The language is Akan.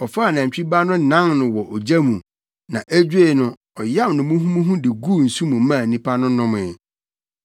Ɔfaa nantwi ba no nan no wɔ ogya mu na edwoe no, ɔyam no muhumuhu de guu nsu mu maa nnipa no nomee.